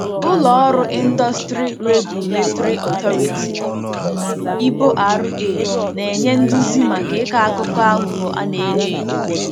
Ụlọ ọrụ Indusrty Regulatory Authority ( IboRA ) na-enye nduzi maka ịkọ akụkọ aghụghọ a na-enyo enyo.